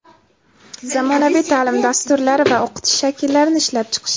zamonaviy taʼlim dasturlari va o‘qitish shakllarini ishlab chiqish;.